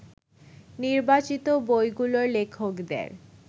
নির্বাচিত বইগুলোর লেখকদের